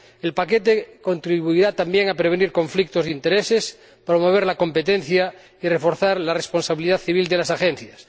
El paquete contribuirá también a prevenir conflictos de intereses, promover la competencia y reforzar la responsabilidad civil de las agencias.